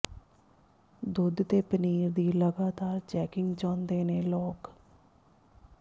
ਦੁੱਧ ਤੇ ਪਨੀਰ ਦੀ ਲਗਾਤਾਰ ਚੈਕਿੰਗ ਚਾਹੁੰਦੇ ਨੇ ਲੋਕ